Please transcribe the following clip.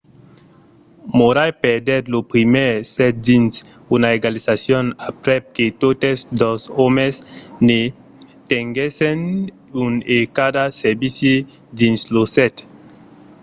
murray perdèt lo primièr set dins una egalizacion aprèp que totes dos òmes ne tenguèssen un e cada servici dins lo set